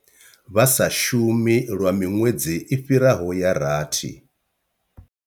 Vha sa shumi lwa miṅwedzi i fhiraho ya rathi.